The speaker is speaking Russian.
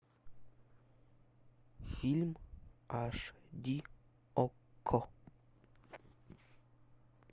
фильм аш ди окко